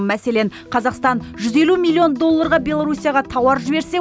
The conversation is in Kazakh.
мәселен қазақстан жүз елу миллион долларға беларусияға тауар жіберсе